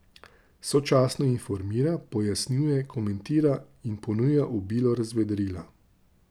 Sočasno informira, pojasnjuje, komentira in ponuja obilo razvedrila.